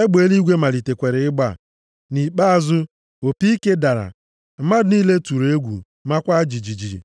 egbe eluigwe malitekwara ịgba. Nʼikpeazụ, opi ike dara. Mmadụ niile tụrụ egwu, makwa jijiji.